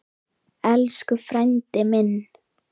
Elsku frændi minn.